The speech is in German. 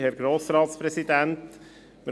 Kommissionspräsident der FiKo.